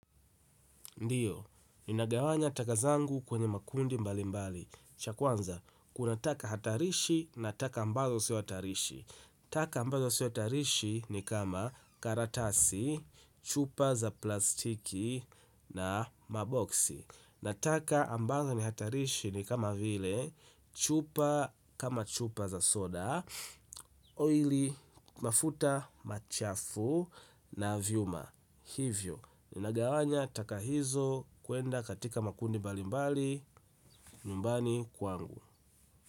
Ndiyo, ninagawanya taka zangu kwenye makundi mbali mbali. Cha kwanza, kuna taka hatarishi na taka ambazo sio hatarishi. Taka ambazo seotarishi ni kama karatasi, chupa za plastiki na maboksi. Na taka ambazo ni hatarishi ni kama vile, chupa kama chupa za soda, oily, mafuta, machafu na vyuma. Hivyo, ninagawanya taka hizo kwenda katika makundi mbalimbali nyumbani kwangu.